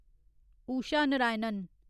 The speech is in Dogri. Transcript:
उषा नारायणन